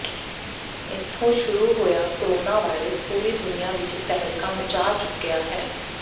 ਇਥੋਂ ਸ਼ੁਰੂ ਹੋਇਆ ਕੋਰੋਨਾਵਾਇਰਸ ਪੂਰੀ ਦੁਨੀਆ ਵਿਚ ਤਹਿਲਕਾ ਮਚਾ ਚੁੱਕਿਆ ਹੈ